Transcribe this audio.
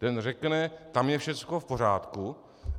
Ten řekne: Tam je všechno v pořádku.